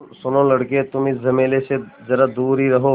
सुनो लड़के तुम इस झमेले से ज़रा दूर ही रहो